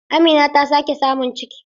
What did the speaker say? Amina ta sake samun ciki.